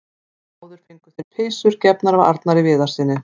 Báðir fengu þeir peysur gefnar af Arnari Viðarssyni.